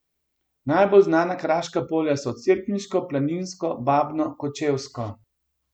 Najbolj znana kraška polja so Cerkniško, Planinsko, Babno, Kočevsko.